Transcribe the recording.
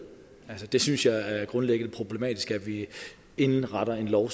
jeg synes at det grundlæggende er problematisk at vi indretter en lov